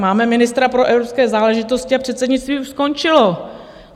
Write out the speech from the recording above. Máme ministra pro evropské záležitosti a předsednictví už skončilo.